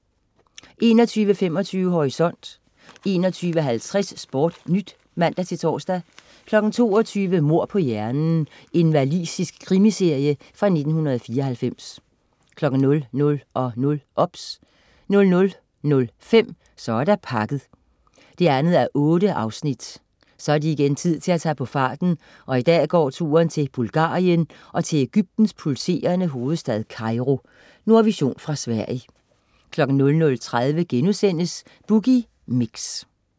21.25 Horisont 21.50 SportNyt (man-tors) 22.00 Mord på hjernen. Walisisk krimiserie fra 1994 00.00 OBS 00.05 Så er der pakket 2:8 Så er det igen tid til at tage på farten, og i dag går turen til Bulgarien og til Ægyptens pulserende hovedstad Kairo. Nordvision fra Sverige 00.30 Boogie Mix*